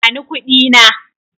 Bani kuɗi na.